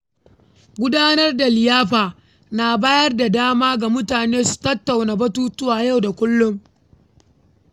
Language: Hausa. Gudanar da liyafa na bayar da dama ga mutane su tattauna batutuwan yau da kullum.